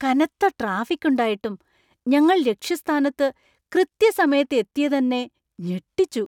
കനത്ത ട്രാഫിക് ഉണ്ടായിട്ടും ഞങ്ങൾ ലക്ഷ്യസ്ഥാനത്ത് കൃത്യസമയത്ത് എത്തിയതെന്നെ ഞെട്ടിച്ചു!